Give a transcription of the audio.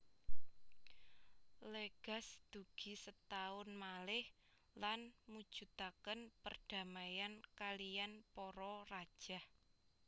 Legaz dugi setaun malih lan mujudaken perdamaian kaliyan para rajah